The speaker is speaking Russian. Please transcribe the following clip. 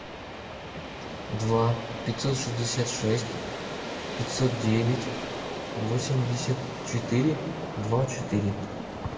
два пятьсот шестьдесят шесть пятьсот девять восемьдесят четыре два четыре